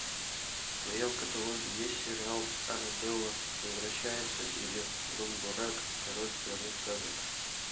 в твоем каталоге есть сериал арабелла возвращается или румбурак король страны сказок